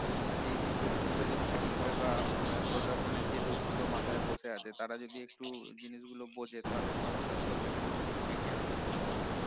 হম এই situation গুলো যদি ঠিক হয় বা উম আহ প্রশাসনের যে লোক গুলো মাথায় বসে আছে তারা যদি একটু জিনিস গুলো বোঝে তাহলে সমস্যাগুলো থেকে কিন্তু বেরিয়ে আসা যায়